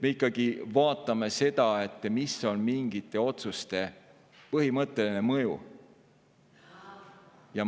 Nii et me vaatame ikkagi seda, mis on mingite otsuste põhimõtteline mõju.